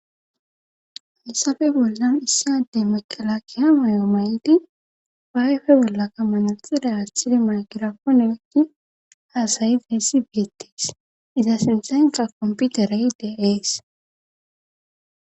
halisabe bollan issi addey maqala kiha mayo mayiti bayfe bollaka manalixida aasshidi makiraponewekki haasayi deessi beettes iza sinxanqa komputerayidea ees